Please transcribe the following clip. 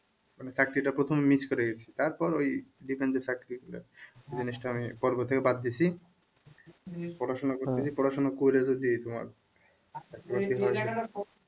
মানে চাকরিটা প্রথমে miss করে গেছি তারপর ওই defence এর চাকরি জিনিসটা আমি পর্ব থেকে বাদ দিছি পড়াশোনা পড়াশোনা করে যদি তোমার